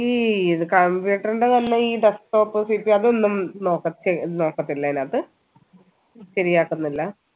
EEE computer ൻറെത് തന്നെ ഈ desktop CPU അതൊന്നു നോക്കതില്ല അയനകത്ത ശരിയാകുന്നില്ല